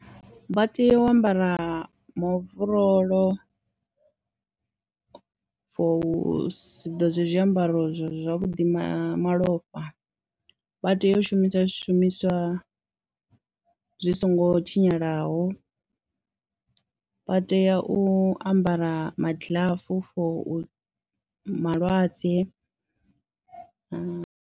Vha tea u ambara maovorolo for u siḓodze zwiambaro zwavhudi ma malofha, vha tea u shumisa zwishumiswa zwi songo tshinyalaho, vha tea u ambara magiḽafu for u, malwadze.